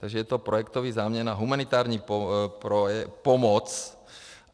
Takže to je projektový záměr na humanitární pomoc.